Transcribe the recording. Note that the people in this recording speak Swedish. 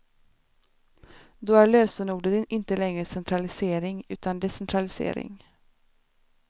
Då är lösenordet inte längre centralisering utan decentralisering.